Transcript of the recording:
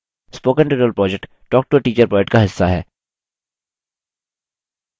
spoken tutorial project talktoateacher project का हिस्सा है